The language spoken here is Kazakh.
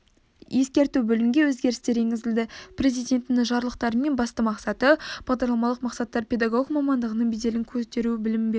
ескерту бөлімге өзгерістер енгізілді президентінің жарлықтарымен басты мақсаты бағдарламалық мақсаттар педагог мамандығының беделін көтеру білім беруді